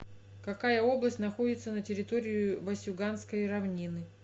какая область находится на территории васюганской равнины